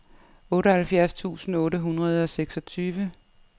otteoghalvfjerds tusind otte hundrede og seksogtyve